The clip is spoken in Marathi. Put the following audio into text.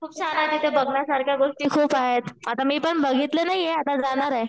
खूप छान आहे तिथे बघण्यासारखं खूप साऱ्या गोष्टी आहेत. आता मी पण बघितलं नाही ये आता जाणार आहे.